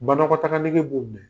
Banakɔtaga nege b'o minɛ.